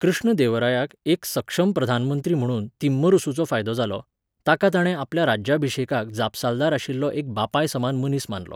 कृष्णदेवरायाक एक सक्षम प्रधानमंत्री म्हूण तिम्मरुसूचो फायदो जालो, ताका ताणें आपल्या राज्याभिशेकाक जापसालदार आशिल्लो एक बापायसमान मनीस मानलो.